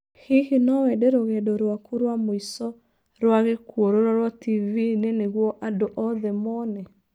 Hihi no wende rũgendo rwaku rwa mũico rwa gĩkuũ rũrorũo TV-inĩ nĩguo andũ othe mone?